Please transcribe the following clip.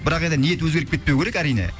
бірақ енді ниет өзгеріп кетпеуі керек әрине